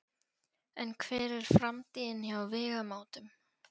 En hver er framtíðin hjá Vegamótum?